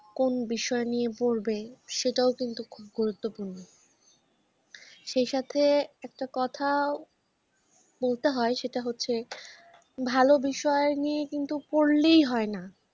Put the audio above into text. কোন বিষয় নিয়ে পড়বে সেটাও কিন্তু খুব গুরুত্বপূর্ণ। সেই সাথে একটা কথাও বলতে হয় সেটা হচ্ছে ভালো বিষয় নিয়ে কিন্তু পড়লেই হয়না।